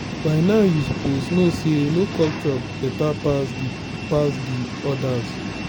by now you suppose know say no culture beta pass de pass de others.